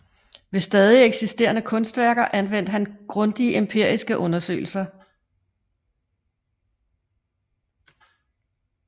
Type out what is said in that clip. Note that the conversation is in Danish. Ved stadig eksisterende kunstværker anvendte han grundige empiriske undersøgelser